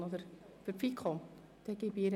Kommissionssprecherin der FiKo.